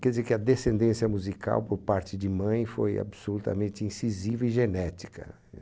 Quer dizer que a descendência musical por parte de mãe foi absolutamente incisiva e genética.